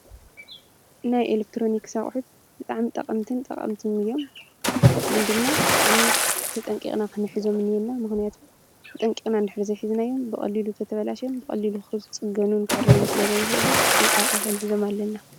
ናይ ኤለክትሮኒክስ ኣቁሕት ብጣዕሚ ጠቀምትን ጠቀምትን ግን ድማ ብጣዕሚ ተጠንቂቅና ክንሕዞም እኒሀና:: ምክንያቱ ተጠንቂቅና እንድሕዘይ ሒዝናዮም ብቀሊሉ እንተተባላሽዮም ብቀሊሉ ክፅገኑን ክዕረዩን ስለዘይክእሉ ብጥንቃቄ ክንሕዞም ኣለና::